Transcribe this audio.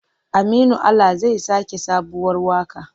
Aminu Ala zai saki sabuwar waƙa.